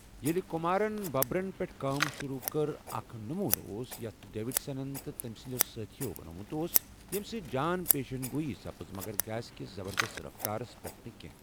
ییلہِ كمارن ببرن پیٹھ كٲم شروع كٕر، اكھ نموٗنہٕ اوس یتھ ڈیوِڈسن تہٕ تمہِ سندِیو٘ سٲتھیو بنومٗت اوس، ییمہِ سۭتۍ جان پیشن گوٗیی سپٕز مگر گیس كِس زبردست رفتارس پیٹھ نہ كینہہ۔